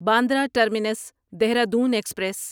Bandra terminus Dehradun express